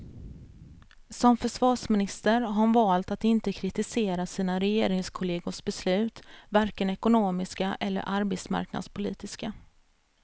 Som försvarsminister har hon valt att inte kritisera sina regeringskollegors beslut, varken ekonomiska eller arbetsmarknadspolitiska.